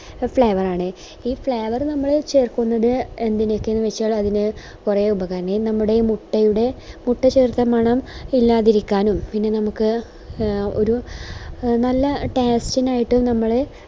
flavour ആണ് ഈ flavour നമ്മൾ ചേർക്കുന്നത് എന്തിനൊക്കെയാന്ന് വെച്ച അതിന് കുറെ ഉപകാ ഈ നമ്മുടെ മുട്ടയുടെ മുട്ട ചേർത്ത മണം ഇല്ലാതിരിക്കാനും പിന്നെ നമുക്ക് ഒരു നല്ല taste നായിട്ട് നമ്മള്